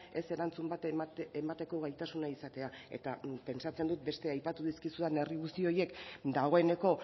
ez erantzun bat emateko gaitasuna izatea eta pentsatzen dut beste aipatu dizkizudan herri guzti horiek dagoeneko